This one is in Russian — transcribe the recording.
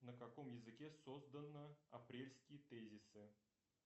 на каком языке создана апрельские тезисы